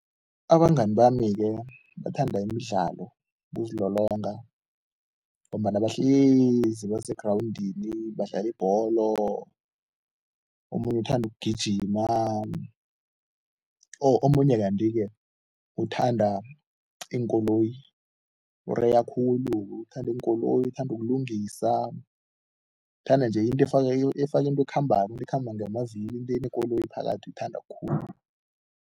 Abangani bami-ke bathanda imidlalo, ukuzilolonga ngombana bahlezi basegrawundini badlala ibholo, omunye uthanda ukugijima oh omunye kanti-ke uthanda iinkoloyi, ureya khulu. Uthanda iinkoloyi, uthanda ukulungisa, uthanda-nje into efaka efaka into ekhambako, ekhamba ngamavilo, into enekoloyi phakathi, uyithanda khulu.